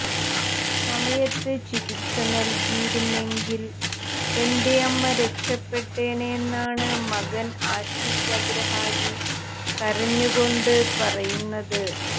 സമയത്ത് ചികിത്സ നൽകിയിരുന്നെങ്കിൽ തന്റെ അമ്മ രക്ഷപ്പെട്ടേനെ എന്നാണ് മകൻ ആഷിഷ് അഗ്രഹാരി കരഞ്ഞുകൊണ്ട് പറയുന്നത്